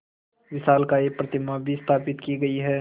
विशालकाय प्रतिमा भी स्थापित की गई है